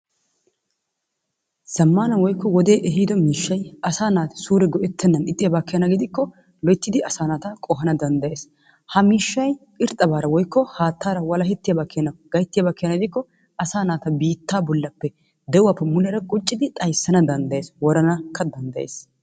Zammaana woykko wodee ehido miishshay asaa naati suure go'ettennan ixxiyaba keena gidikko loyittidi asaa naata qohana danddayees. Ha miishshay irxxabaara woyikko haattaara walahettiyaba keena gayittiyaba gidikko asaa naata biittaa bollappe de'uwappe muleera quccidi xayissana danddayes. Woranakka danddayes.